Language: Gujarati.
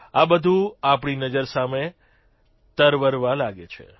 આ બધું આપણી નજર સામે તરવરવા લાગે છે